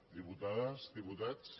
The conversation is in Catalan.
diputades diputats